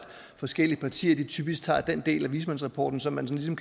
forskellige partier typisk tager den del af vismandsrapporten som man sådan